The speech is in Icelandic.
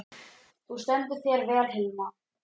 Þú stendur þig vel, Hilma!